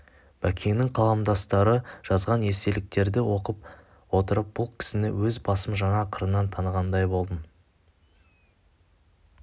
бәкеңнің қаламдастары жазған естеліктерді оқып отырып бұл кісіні өз басым жаңа қырынан танығандай болдым